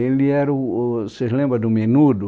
Ele era o, vocês lembram do Menudo?